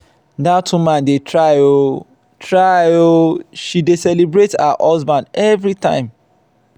dat woman dey try oo try oo she dey celebrate her husband every time.